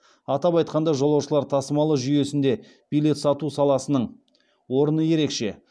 атап айтқанда жолаушылар тасымалы жүйесінде билет сату саласының орны ерекше